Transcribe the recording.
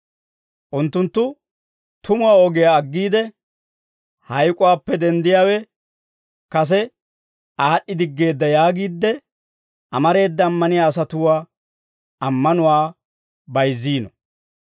Unttunttu tumuwaa ogiyaa aggiide, «Hayk'uwaappe denddiyaawe kase aad'd'idiggeedda» yaagiide amareeda ammaniyaa asatuwaa ammanuwaa bayizziino.